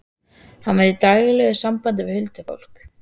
Hann var í daglegu sambandi við huldufólk.